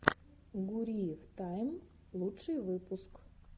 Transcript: гуриев тайм лучший выпуск